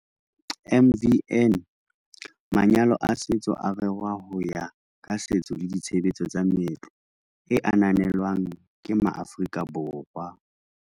MvN- Manyalo a setso a rerwa ho ya ka setso le ditshebetso tsa meetlo e ananelwang ke maAforika Borwa.